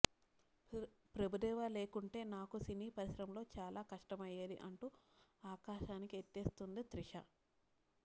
ప్రభుదేవా లేకుంటే నాకు సినీ పరిశ్రమలో చాలా కష్టమయ్యేది అంటూ ఆకాశానికి ఎత్తేస్తోంది త్రిష